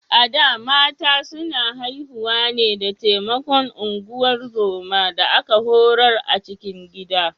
A da, mata suna haihuwa ne da taimakon ungozoma da aka horar a cikin gida.